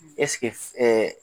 Ɛseke